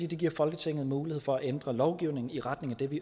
det giver folketinget mulighed for at ændre lovgivningen i retning af det